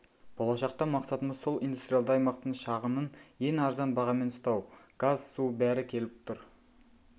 болашақта мақсатымыз сол индустриалды аймақтың шығынын ең арзан бағамен ұстау газ су бәрі келіп тұр